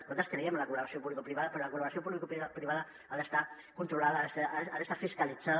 nosaltres creiem en la col·laboració publicoprivada però la col·laboració publicoprivada ha d’estar controlada ha d’estar fiscalitzada